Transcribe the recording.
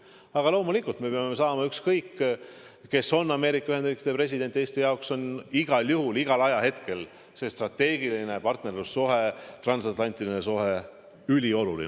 Aga loomulikult, ükskõik kes on Ameerika Ühendriikide president, Eesti jaoks on igal juhul igal ajahetkel see strateegiline partnerlussuhe, transatlantiline suhe ülioluline.